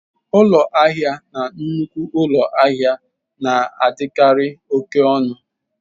Ụlọ ahịa na nnukwu ụlọ ahịa na-adịkarị oke ọnụ.